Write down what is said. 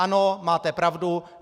Ano, máte pravdu.